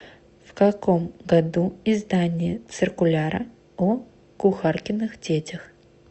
в каком году издание циркуляра о кухаркиных детях